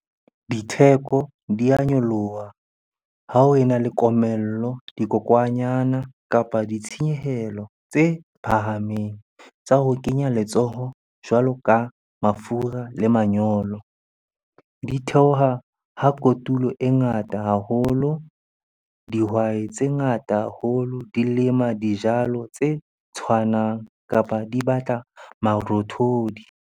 Ditheko di a nyoloha ha ho e na le komello, dikokwanyana, kapa ditshenyehelo tse phahameng tsa ho kenya letsoho jwalo ka mafura le manyolo. Di theoha ha kotulo e ngata haholo, dihwai tse ngata haholo di lema dijalo tse tshwanang kapa di batla marothodi.